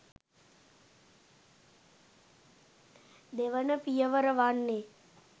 දෙවන පියවර වන්නේ